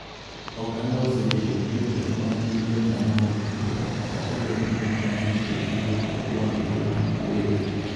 Oganda osebedo gi jotelo ma gin jokanyo mag bura kata obedo ni gin duto giwuok e duond bura ma kwedo